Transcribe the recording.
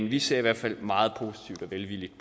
vi ser i hvert fald meget velvilligt